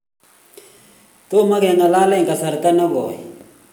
tomo keng'alele eng kasarta ne koi